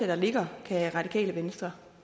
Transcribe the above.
der ligger kan radikale venstre